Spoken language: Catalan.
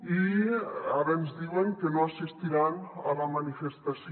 i ara ens diuen que no assistiran a la manifestació